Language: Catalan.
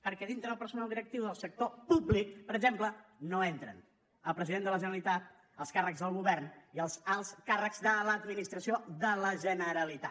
perquè dintre del personal directiu del sector públic per exemple no entren el president de la generalitat els càrrecs del govern ni els alts càrrecs de l’administració de la generalitat